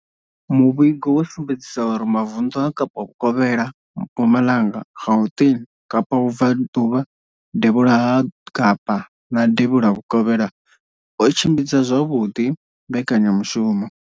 Muvhigo wo sumbedzisa uri mavunḓu a Kapa vhukovhela, Mpumalanga, Gauteng, Kapa vhubvaḓuvha, devhula ha Kapa na devhula vhukovhela o tshimbidza zwavhuḓi mbekanyamushumo